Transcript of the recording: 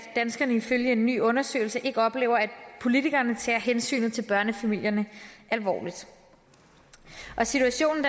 danskerne ifølge en ny undersøgelse ikke oplever at politikerne tager hensynet til børnefamilierne alvorligt situationen